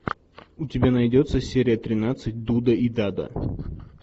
у тебя найдется серия тринадцать дуда и дада